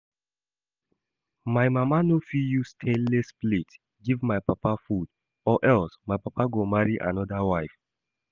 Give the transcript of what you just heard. My mama no fit use stainless plate give my papa food or else my papa go marry another wife